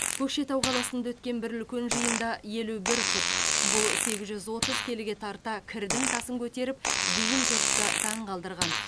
көкшетау қаласында өткен бір үлкен жиында елу бір пұт бұл сегіз жүз отыз келіге тарта кірдің тасын көтеріп дүйім жұртты таңғалдырған